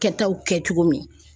Kɛtaw kɛ cogo min.